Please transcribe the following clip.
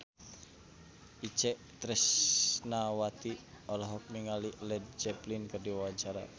Itje Tresnawati olohok ningali Led Zeppelin keur diwawancara